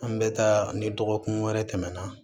An bɛ taa ni dɔgɔkun wɛrɛ tɛmɛna